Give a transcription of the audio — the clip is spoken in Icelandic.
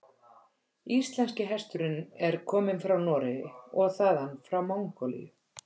Íslenski hesturinn er kominn frá Noregi og þaðan frá Mongólíu.